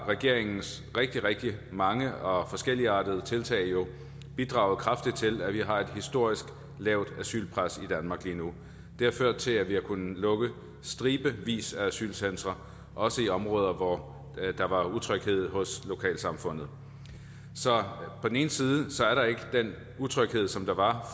at regeringens rigtig rigtig mange og forskelligartede tiltag jo har bidraget kraftigt til at vi har et historisk lavt asylpres i danmark lige nu det har ført til at vi har kunnet lukke stribevis af asylcentre også i områder hvor der var utryghed hos lokalsamfundet så på den ene side er der ikke den utryghed som der var